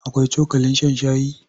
Akwai cokalin shan shayi?